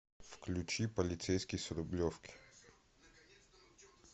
включи полицейский с рублевки